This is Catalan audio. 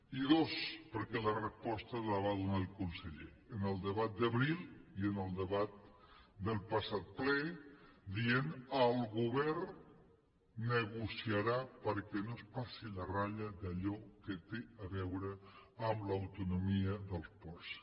i dos perquè la resposta la va donar el conseller en el debat d’abril i en el debat del passat ple dient el govern negociarà perquè no es passi la ratlla d’allò que té a veure amb l’autonomia dels ports